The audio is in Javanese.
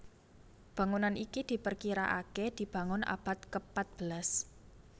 Bangunan iki diperkiraaké dibangun abad kepatbelas